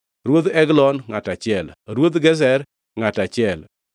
Ruodh Eglon, ngʼato achiel, Ruodh Gezer, ngʼato achiel,